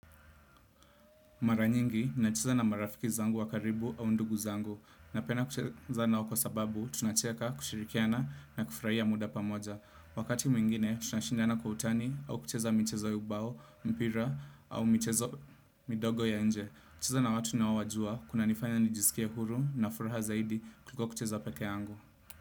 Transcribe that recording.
Mara nyingi, nacheza na marafiki zangu wa karibu au ndugu zangu. Napenda kucheza nao kwa sababu, tunacheka, kushirikiana na kufurahia muda pamoja. Wakati mwingine, tunashindana kwa utani au kucheza michezo ya ubao, mpira au michezo midogo ya nje. Kucheza na watu naowajua, kunanifanya nijisikie huru na furaha zaidi kuliko kucheza peke yangu.